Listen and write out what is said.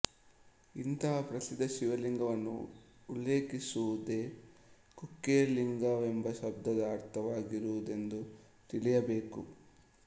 ಇಂತಹ ಪ್ರಸಿದ್ಧ ಶಿವಲಿಂಗವನ್ನು ಉಲ್ಲೇಖಿಸುವುದೇ ಕುಕ್ಕೆಲಿಂಗವೆಂಬ ಶಬ್ದದ ಅರ್ಥವಾಗಿರುವುದೆಂದು ತಿಳಿಯಬೇಕು